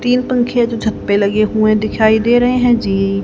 तीन पंखे जो छत पे लगे हुए दिखाई दे रहे हैं जी--